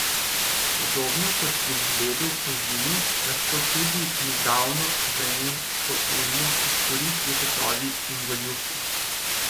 Podobno kot pri žledu pozimi lahko tudi nedavno vremensko ujmo izkoristijo tatovi in goljufi.